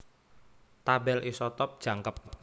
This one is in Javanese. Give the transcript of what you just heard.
Tabèl isotop jangkep